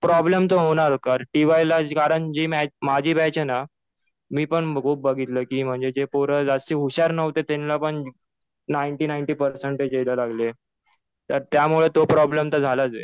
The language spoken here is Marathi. प्रॉब्लेम तर होणार. कारण टि वाय ला कारण जी माझी बॅच आहे ना, मी पण खूप बघितलं कि म्हणजे जे पोरं जास्त हुशार नव्हते ना त्यांना पण नाईंटी- नाईंटी पर्सेंटेज यायला लागले. तर त्यामुळे तो प्रॉब्लेम तर झालाच आहे.